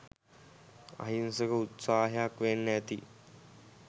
අහිංසක උත්සාහයක් වෙන්න ඇති